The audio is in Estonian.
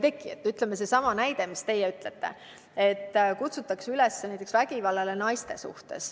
Toon sellesama näite, mis te ütlesite, et kutsutakse üles vägivallale naiste vastu.